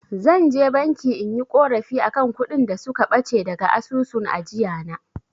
Zan je banki inyi ƙorafi akan kuɗin da suka ɓace daga asusun ajiyana.